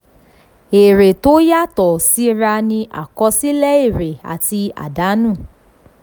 èrè tó yàtọ̀ síra ni àkọsílẹ̀ èrè àti àdánù.